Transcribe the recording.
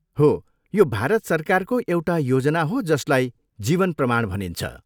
हो, यो भारत सरकारको एउटा योजना हो जसलाई जीवन प्रमाण भनिन्छ।